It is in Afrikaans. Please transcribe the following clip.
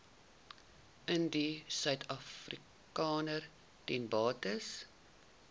indiërsuidafrikaners ten beste